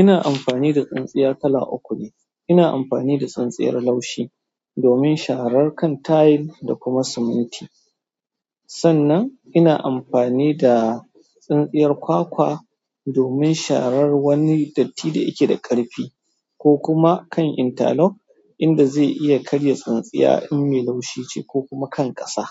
Ina amfani da tsintsiya kala uku ne. Ina amfani da tsintsiyar laushi domin sharar kan tayil da kuma siminti. Sannan ina amfani da tsintsiyar kwakwa domin sharar wani datti da yake da ƙarfi ko kuma kan intalok inda zai iya karya tsintsiya in me laushi ce ko kuma kan ƙasa,